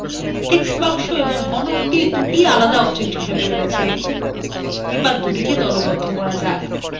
text box এবং ঘনকthe আলাদা objects হিসাবে রয়েছে এবার দুটিকে দলবদ্ধ করা যাক